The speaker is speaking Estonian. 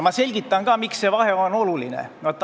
Ma selgitan ka, miks see vahe on oluline.